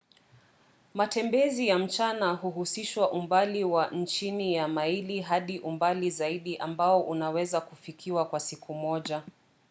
matembezi ya mchana huhusisha umbali wa chini ya maili hadi umbali zaidi ambao unaweza kufikiwa kwa siku moja